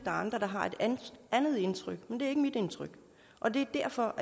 er andre der har et andet indtryk men det er ikke mit indtryk og det er derfor